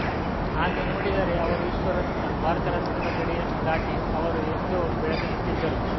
ಹಾಗೆ ನೋಡಿದರೆ ಅವರು ವಿಶ್ವರತ್ನ ಭಾರತರತ್ನದ ಗಡಿಯನ್ನು ದಾಟಿ ಅವರು ಎಂದೋ ಬೆಳೆದುಬಿಟ್ಟಿದ್ದರು